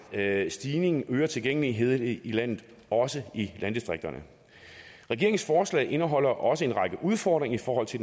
at stigningen øger tilgængeligheden i i landet også i landdistrikterne regeringens forslag indeholder også en række udfordringer i forhold til